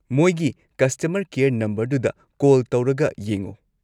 ꯃꯣꯏꯒꯤ customer care ꯅꯝꯕꯔꯗꯨꯗ call ꯇꯧꯔꯒ ꯌꯦꯡꯉꯣ꯫